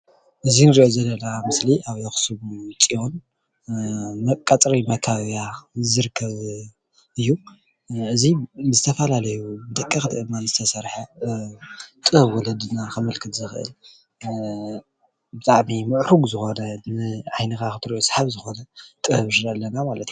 እዚ እንርእዮ ዘለና ምስሊ ኣብ ኣክሱም ፅዮን ቀፅሪ መካበብያ ዝርከብ እዩ። እዙይ ብዝተፈላለዩ ደቀቅቲ አእማን ዝተሰርሐ ጥበብ ወለዲና ከምልክት ዝክእል ብጣዕሚ ሙዕሩግ ዝኮነ ንዓይንካ ክትርእዮ ሰሓቢ ዝኮነ ጥበብ ኣለና ማለት እዩ።